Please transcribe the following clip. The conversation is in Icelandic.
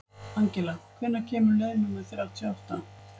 Angela, hvenær kemur leið númer þrjátíu og átta?